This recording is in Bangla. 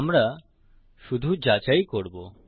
আমরা শুধু যাচাই করবো